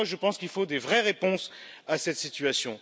Je pense qu'il faut de vraies réponses à cette situation.